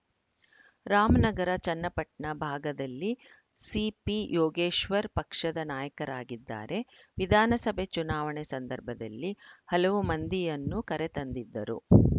ರಾಮನಗರ ಚನ್ನಪಟ್ಟಣ ಭಾಗದಲ್ಲಿ ಸಿಪಿಯೋಗೇಶ್ವರ್‌ ಪಕ್ಷದ ನಾಯಕರಾಗಿದ್ದಾರೆ ವಿಧಾನಸಭೆ ಚುನಾವಣೆ ಸಂದರ್ಭದಲ್ಲಿ ಹಲವು ಮಂದಿಯನ್ನು ಕರೆ ತಂದಿದ್ದರು